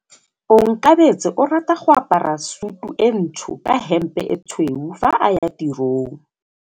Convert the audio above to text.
Onkabetse o rata go apara sutu e ntsho ka hempe e tshweu fa a ya tirong.